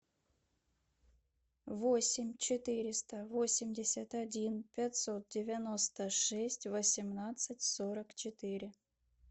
восемь четыреста восемьдесят один пятьсот девяносто шесть восемнадцать сорок четыре